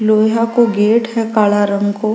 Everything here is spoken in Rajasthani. लोहया को गेट है काला रंग को।